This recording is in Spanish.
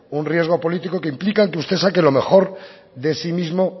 un riesgo político que implican que usted saque lo mejor de sí mismo